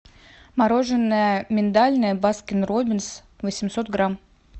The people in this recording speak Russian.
мороженое миндальное баскин роббинс восемьсот грамм